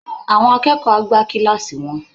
Àwọn akẹ́kọ̀ọ́ á gbá kíláàsì wọn